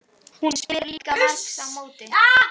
Hún spyr líka margs á móti.